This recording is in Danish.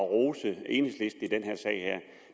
at rose enhedslisten